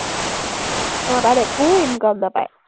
অ, তাত একো income নাপায়।